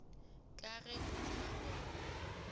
ka ge o tseba gore